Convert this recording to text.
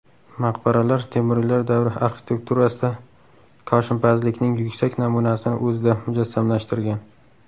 Maqbaralar Temuriylar davri arxitekturasida koshinpazlikning yuksak namunasini o‘zida mujassamlashtirgan.